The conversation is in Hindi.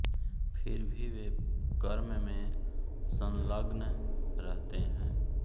फिर भी वे कर्म में संलग्न रहते हैं